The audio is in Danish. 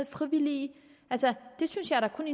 frivillige det synes jeg da kun